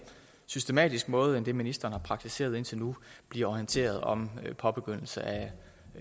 systematisk måde end den ministeren har praktiseret indtil nu bliver orienteret om påbegyndelse af